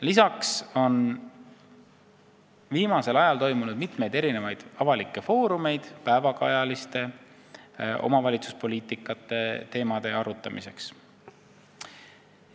Lisaks on viimasel ajal toimunud mitmeid avalikke foorumeid päevakajaliste omavalitsuspoliitika suundade arutamiseks.